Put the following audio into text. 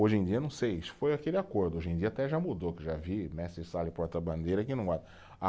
hoje em dia, não sei, foi aquele acordo, hoje em dia até já mudou, que já vi mestre-sala e porta-bandeira que não